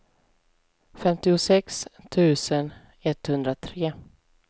femtiosex tusen etthundratre